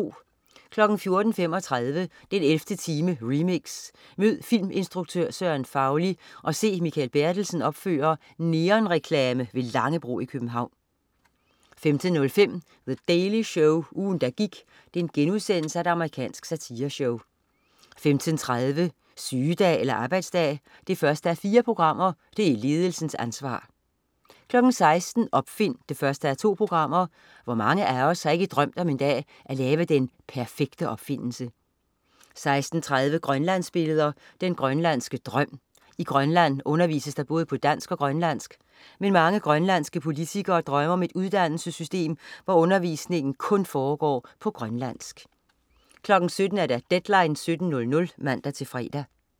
14.35 den 11. time, remix. Mød filminstruktør Søren Fauli og se Mikael Bertelsen opføre neonreklame ved Langebro i København 15.05 The Daily Show. Ugen, der gik.* Amerikansk satireshow 15.30 Sygedag eller arbejdsdag? 1:4. Det er ledelsens ansvar 16.00 Opfind 1:2. Hvor mange af os har ikke drømt om en dag at lave den perfekte opfindelse? 16.30 Grønlandsbilleder. Den grønlandske drøm. I Grønland undervises der både på dansk og grønlandsk. Men mange grønlandske politikere drømmer om et uddannelsessystem, hvor undervisningen kun foregår på grønlandsk 17.00 Deadline 17.00 (man-fre)